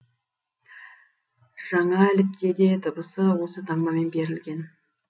жаңәліпте де дыбысы осы таңбамен берілген